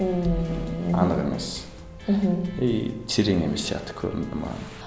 ммм анық емес мхм и терең емес сияқты көрінді маған